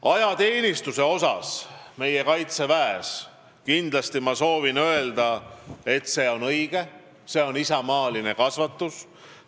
Ajateenistus kaitseväes on kindlasti õige, see on isamaaline kasvatus.